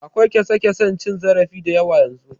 Akwai kyasa-kyasan cin zarafi da yawa yanzu.